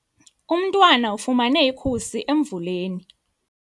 Umntwana ufumene ikhusi emvuleni.